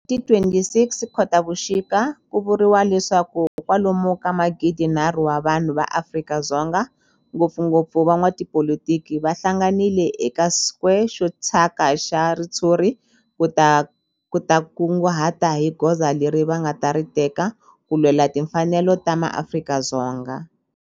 Ti 26 Khotavuxika ku vuriwa leswaku kwalomu ka magidinharhu wa vanhu va Afrika-Dzonga, ngopfungopfu van'watipolitiki va hlanganile eka square xo thyaka xa ritshuri ku ta kunguhata hi goza leri va nga ta ri teka ku lwela timfanelo ta maAfrika-Dzonga.